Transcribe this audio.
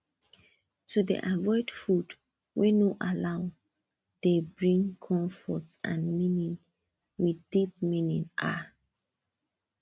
to dey avoid food wey no allow dey bring comfort and meaning with deep meaning ah